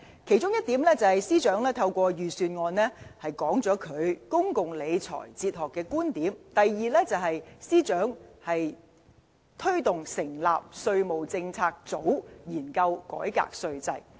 其中一點，是司長透過預算案表達他對公共理財哲學的觀點；第二，司長推動成立稅務政策組研究改革稅制。